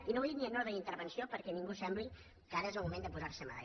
i no ho he dit ni en ordre d’intervenció perquè ningú sembli que ara és el moment de posar se medalles